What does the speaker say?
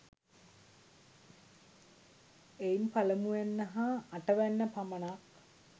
එයින් පළමුවැන්න හා අටවැන්න පමණක්